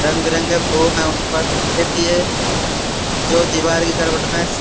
रंग-बिरंगे फोम है। उन पर एक ये जो दिवार --